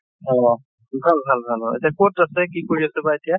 অʼ । ভাল ভাল ভাল । এতিয়া কʼত আছে, কি কৰি আছে বা এতিয়া ?